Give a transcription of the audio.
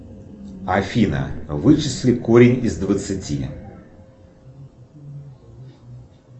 афина вычисли корень из двадцати